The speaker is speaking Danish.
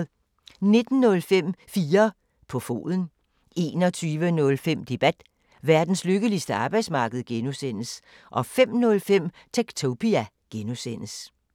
19:05: 4 på foden 21:05: Debat: Verdens lykkeligste arbejdsmarked (G) 05:05: Techtopia (G)